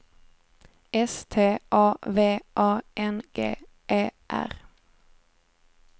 S T A V A N G E R